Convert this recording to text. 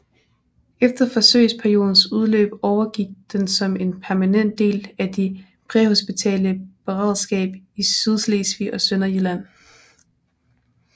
Efter forsøgsperiodens udløb overgik den som en permanent del af de præhospitale beredskab i Sydslesvig og Sønderjylland